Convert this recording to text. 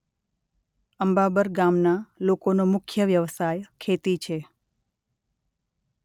અંબાબર ગામના લોકોનો મુખ્ય વ્યવસાય ખેતી છે.